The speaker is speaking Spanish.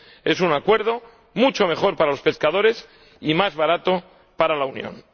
Es un acuerdo mucho mejor para los pescadores y más barato para la Unión.